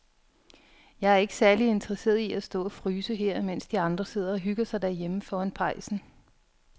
Jeg er ikke særlig interesseret i at stå og fryse her, mens de andre sidder og hygger sig derhjemme foran pejsen.